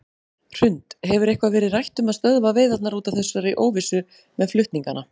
Hrund: Hefur eitthvað verið rætt um að stöðva veiðarnar út af þessari óvissu með flutningana?